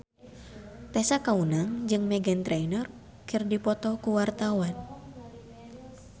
Tessa Kaunang jeung Meghan Trainor keur dipoto ku wartawan